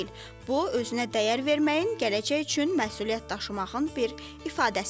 Bu özünə dəyər verməyin, gələcək üçün məsuliyyət daşımağın bir ifadəsidir.